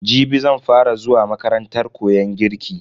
Jibi zan fa ra zuwa makarantar koyon girki.